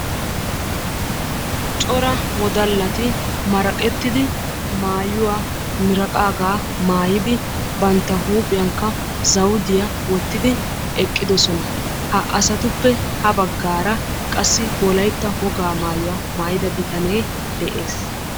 Cora wodallati maraqqettidi maayyuwa miraqqaaga maayyidi bantta huuphiyaankka zawudiya wottidi eqqidoosona. Ha asatuppe ha baggaara qassi wolaytta wogaa maayyuwaa maayyida bitanee de'ees.